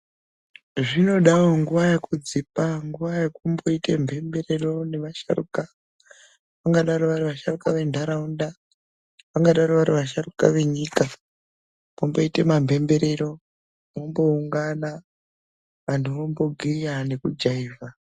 Zvinodawowo nguva yekudzipa, nguva yekumboita mhemberero nevasharukwa. Ungadaro vari vasharukwa vendaraunda, vangadaro vari vasharukwa venyika. Pomboita mamhemberero momboungana vantu vombogiya nekujaivha.